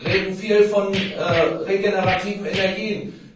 Wir reden viel von regenerativen Energien.